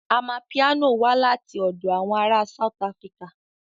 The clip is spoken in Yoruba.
Amapiano wá láti ọ̀dọ̀ àwọn ará South Africa